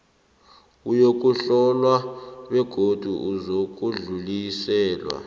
uyokuhlolwa begodu uzakudluliselwa